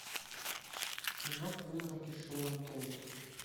кино призраки шэрон тейт